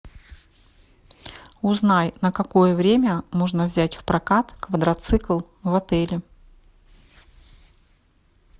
узнай на какое время можно взять в прокат квадроцикл в отеле